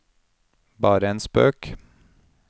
bare en spøk